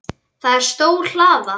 Það er stór hlaða.